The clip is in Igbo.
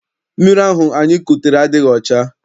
Mmiri ahụ anyị kutere adịghị ọcha.